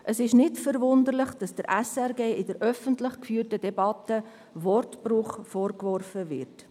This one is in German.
Es ist nicht verwunderlich, dass der SRG in der öffentlich geführten Debatte Wortbruch vorgeworfen wird.